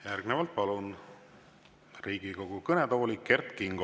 Järgnevalt palun Riigikogu kõnetooli Kert Kingo.